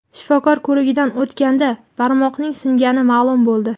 Shifokor ko‘rigidan o‘tganda barmoqning singani ma’lum bo‘ldi.